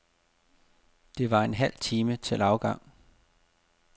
Der var en halv time til afgang.